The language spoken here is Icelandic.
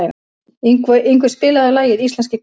Yngvi, spilaðu lagið „Íslenskir karlmenn“.